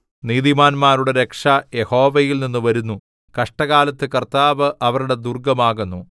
നീതിമാന്മാരുടെ രക്ഷ യഹോവയിൽനിന്ന് വരുന്നു കഷ്ടകാലത്ത് കർത്താവ് അവരുടെ ദുർഗ്ഗം ആകുന്നു